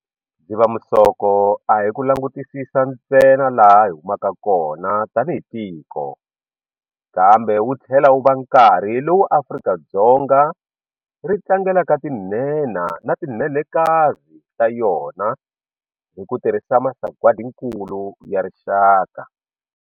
Dzivamisoko a hi ku langutisisa ntsena laha hi humaka kona tanihi tiko, kambe wu tlhela wu va nkarhi lowu Afrika-Dzonga ri tlangelaka tinhenha na ti nhenhakazi ta yona hi ku tirhisa Masagwadinkulu ya Rixaka.